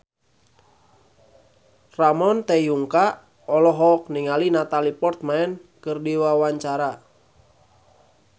Ramon T. Yungka olohok ningali Natalie Portman keur diwawancara